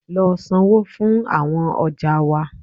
Lọ sańwo fún awọn ọja wa!